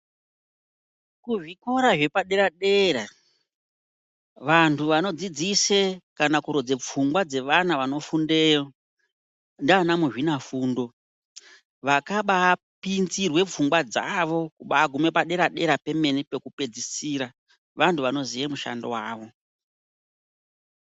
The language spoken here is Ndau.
Kuzvikora zvepadera dera vantu vanodzidzise kana kurodze pfungwa dzevana vanofundeyo, ndianamuzvinafundo vakaba pinzirwe pfungwa dzavo kuba gume padera dera pemene pakupedzisira vandu vanoziye mushando wavo.